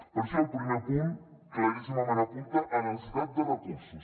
per això el primer punt claríssimament apunta a la necessitat de recursos